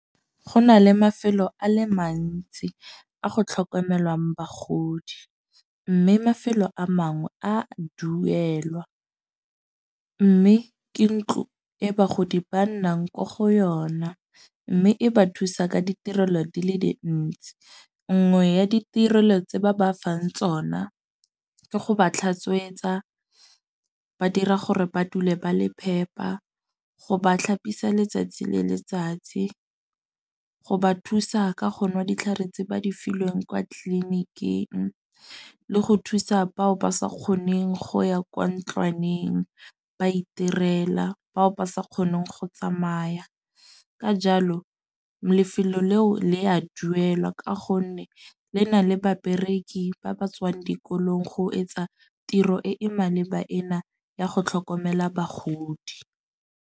Go na le mafelo a le mantsi a go tlhokomelwang bagodi. Mme mafelo a mangwe a duelwa. Mme ke ntlo e bagodi ba nnang ko go yona. Mme e ba thusa ka ditirelo di le dintsi nngwe ya ditirelo tse ba ba fang tsona, ke go ba tlhatswetsa. Ba dira gore ba dule ba le phepa. Go ba tlhapisa letsatsi le letsatsi, go ba thusa ka go nwa ditlhare tse ba di filweng kwa tleliniking le go thusa bao ba sa kgoneng go ya kwa ntlwaneng, ba itirela. Bao ba sa kgoneng go tsamaya ka jalo lefelo leo le a duelwa. Ka gonne le na le babereki ba ba tswang dikolong go etsa tiro e e maleba ena ya go tlhokomela bagodi.